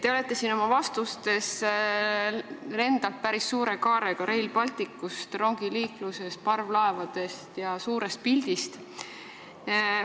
Te olete siin oma vastustes lennanud päris suure kaarega üle Rail Balticust, rongiliiklusest, parvlaevadest ja suurest pildist.